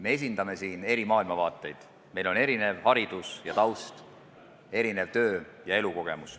Me esindame siin eri maailmavaateid, meil on erinev haridus ja taust, erinev töö- ja elukogemus.